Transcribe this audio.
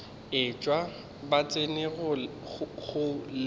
etšwa ba tsena go le